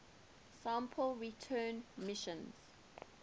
sample return missions